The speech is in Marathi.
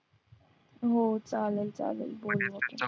हो चालेल चालेल